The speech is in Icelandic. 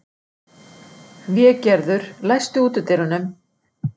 Végerður, læstu útidyrunum.